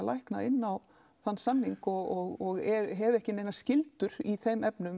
lækna inn á þann samning og hef ekki neinar skyldur í þeim efnum